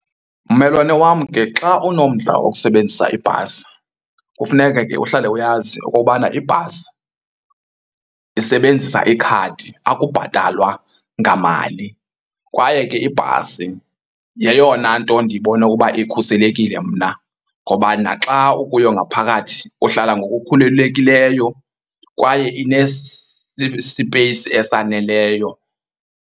Mmelwane wam, ke xa unomdla wokusebenzisa ibhasi kufuneke ke uhlale uyazi okobana ibhasi isebenzisa ikhadi akubhatalwa ngamali. Kwaye ke ibhasi yeyona nto ndibona uba ikhuselekile mna ngoba naxa ukuyo ngaphakathi uhlala ngokukhululekileyo kwaye esaneleyo.